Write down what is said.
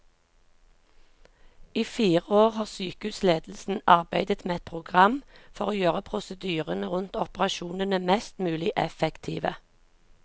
I fire år har sykehusledelsen arbeidet med et program for å gjøre prosedyrene rundt operasjonene mest mulig effektive.